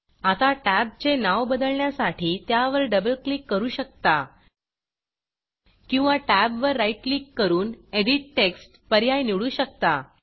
आता टॅब्जचे नाव बदलण्यासाठी त्यावर डबल क्लिक करू शकता किंवा टॅबवर राईट क्लिक करून एडिट textएडिट टेक्स्ट पर्याय निवडू शकता